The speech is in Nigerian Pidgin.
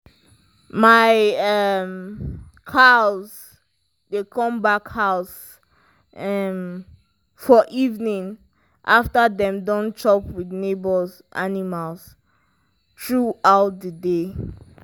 my um cows dey come back house um for evening after dem don chop with neighbours animal through out the day